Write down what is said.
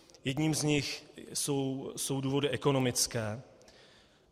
Jedním z nich jsou důvody ekonomické.